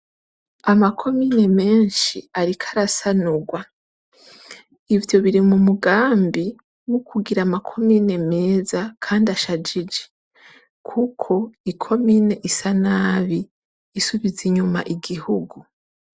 Ama komine menshi ariko arasanurwa. Ivyo biri mu mugambi wo kugira ama komine meza Kandi ashajijie, kuk'i komine isa nabi isubiza inyuma igihugu.